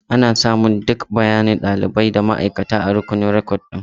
Ana samun duk bayanan ɗalibi da ma'aikata a rukunin rikodin.